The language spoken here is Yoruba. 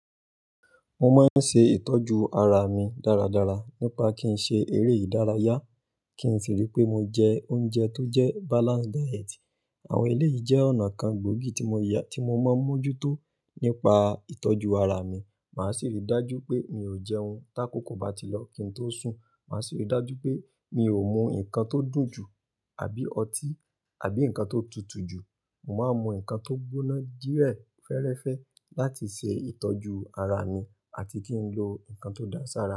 Mo máa ń ṣe ìtọ́jú ara mi dáradára nípa kí n ṣe eré ìdárayá, kí n sì rí pé mo jẹ oúnjẹ tó jẹ́ balanced diet. Àwọn eléyìí jẹ́ ọ̀nà kan gbòógì tí mo mọ́ mójútó nípa ìtọ́jú ara mi. Màá sì rí i dájú pé mi ò jẹ ohun tá kòkò bá ti lọ, kí n tó sùn. Màá sì rí i dájú pé mi ò mú nǹkan tó dùn jù àbí ọtí àbí nǹkan tó tutù jù. Mo máa ń mu ǹkan tó gbóná dírẹ̀ fẹ́ẹ́rẹ́fẹ́ láti ṣe ìtọ́jú ara mi àti kí n lo ǹkan tó dáa ṣàra.